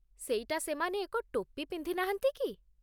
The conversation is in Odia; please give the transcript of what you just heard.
ସେଇଟା ସେମାନେ ଏକ ଟୋପି ପିନ୍ଧି ନାହାନ୍ତି କି?